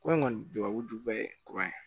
Ko in kɔni tubabu duba ye kuran ye